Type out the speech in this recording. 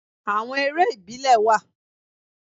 Àwon eré ìbílẹ̀ wà